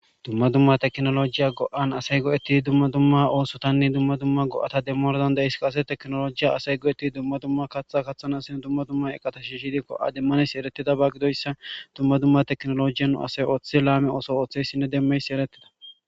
Dumma dumma teknolojiya go'an asay go'etti dumma dumma oosotanne dumma dumma go'ata demmordan da is kase teknolojiya asay go'ettii dumma dumma kaththa kathan asin dumma dumma eqatashi hidikko'a dimmanes eretida ba gidoyssa dumma dumma teknolojiyan asay ooththe laame ooso ooththeyssinne demmeysi eretida